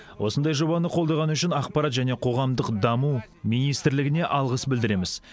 осындай жобаны қолдағаны үшін ақпарат және қоғамдық даму министрлігіне алғыс білдіреміз